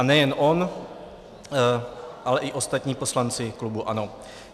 A nejen on, ale i ostatní poslanci klubu ANO.